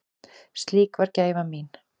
Slík var gæfa mín.